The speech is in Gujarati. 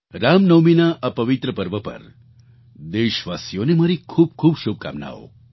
રામનવમીના આ પવિત્ર પર્વ પર દેશવાસીઓને મારી ખૂબ ખૂબ શુભકામનાઓ